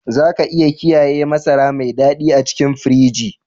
Za ka iya kiyaye masara mai dadi a cikin firiji.